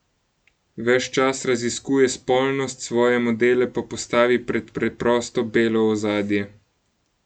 Ves čas raziskuje spolnost, svoje modele pa postavi pred preprosto belo ozadje.